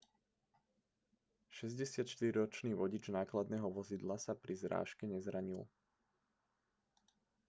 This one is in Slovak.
64-ročný vodič nákladného vozidla sa pri zrážke nezranil